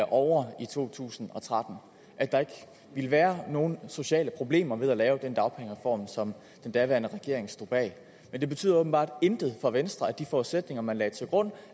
ovre i to tusind og tretten og at der ikke ville være nogen sociale problemer ved at lave den dagpengereform som den daværende regering stod bag men det betyder åbenbart intet for venstre at de forudsætninger man lagde til grund